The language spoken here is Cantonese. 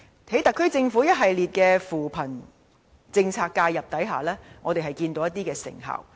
在特區政府一系列扶貧政策的介入下，我們看到一些成效。